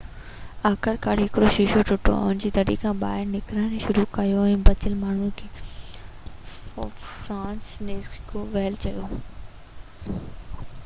آخرڪار هڪڙو شيشو ٽٽو ۽ انهن دري کان ٻاهر نڪرڻ شروع ڪيو بچيل ماڻهو فرانسسزيڪ ڪوول چيو